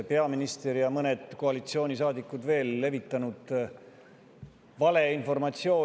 Peaminister ja mõned koalitsioonisaadikud on meedias levitanud valeinformatsiooni.